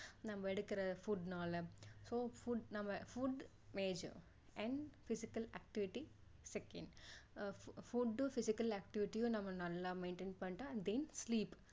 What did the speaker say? நம்ம எடுக்கிற food னால so food நம்ம food major and physical activity second அஹ் food டும் physical activity யும் நம்ம நல்லா maintain பண்ணிட்டு and then sleep